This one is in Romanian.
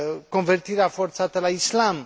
convertirea forțată la islam